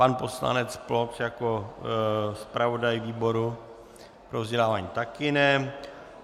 Pan poslanec Ploc jako zpravodaj výboru pro vzdělávání také ne.